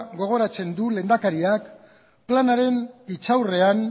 gogoratzen dut lehendakariak planaren hitzaurrean